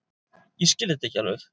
Ég skil þetta ekki alveg.